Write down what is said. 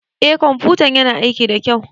Eh ƙwamfutan yana aiki da kyau.